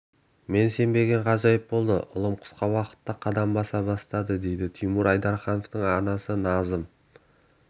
мен сенбеген ғажайып болды ұлым қысқа уақытта қадам баса бастады дейді тимур айдархановтың анасы назым